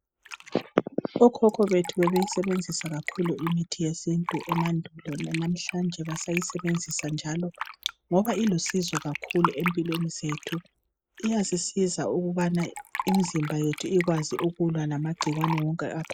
Okhokho bethu bebeyisebenzisa kakhulu imithi yesintu emandulo lanamhlanje basayisebenzisa njalo ngoba ilusizo kakhulu ezimpilweni zethu iyasisiza ukubana imizimba yethu ikwazi ukulwa lamagcikwane wonke